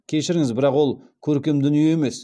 кешіріңіз бірақ ол көркем дүние емес